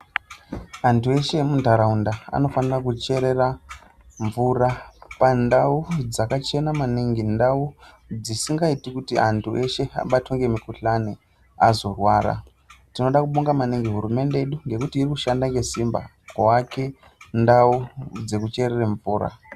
Anthu eshe emuntharaunda anofanira kucherera mvura panduau dzakachena maningi ndau dzisingaiti kuti anthu eshe abatwe ngemukuhlani azorwara tinoda kubonga maningi hurumende nekuti iri kushanda nesimba kuake ndau dzekucherere mvura.